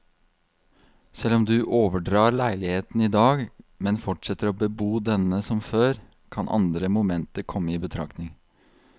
Selv om du overdrar leiligheten i dag, men fortsetter å bebo denne som før, kan andre momenter komme i betraktning.